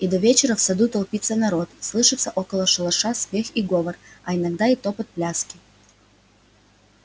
и до вечера в саду толпится народ слышится около шалаша смех и говор а иногда и топот пляски